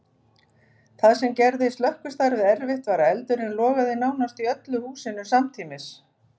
Það sem gerði slökkvistarfið erfitt var að eldurinn logaði nánast í öllu húsinu samtímis.